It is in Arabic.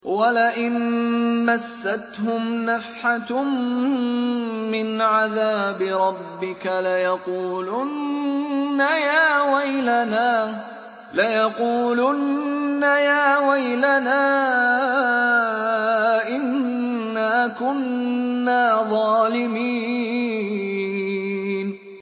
وَلَئِن مَّسَّتْهُمْ نَفْحَةٌ مِّنْ عَذَابِ رَبِّكَ لَيَقُولُنَّ يَا وَيْلَنَا إِنَّا كُنَّا ظَالِمِينَ